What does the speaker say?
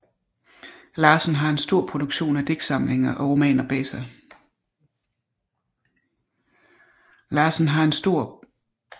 Larsen har en stor produktion af digtsamlinger og romaner bag sig